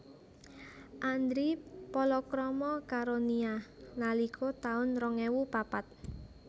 Andri palakrama karo Nia nalika taun rong ewu papat